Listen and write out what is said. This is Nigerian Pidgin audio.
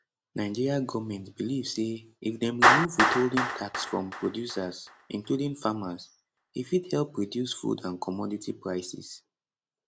nigeria goment belive say if dem remove withholding tax from producers including farmers e fit help reduce food and commodity prices